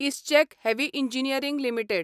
ISGEC heavy engineering limited